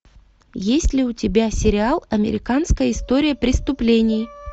есть ли у тебя сериал американская история преступлений